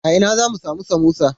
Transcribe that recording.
A ina zamu samu samosa?